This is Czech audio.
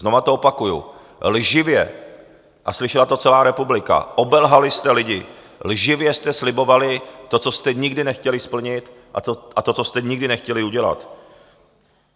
Znova to opakuji, lživě - a slyšela to celá republika, obelhali jste lidi - lživě jste slibovali to, co jste nikdy nechtěli splnit, a to, co jste nikdy nechtěli udělat.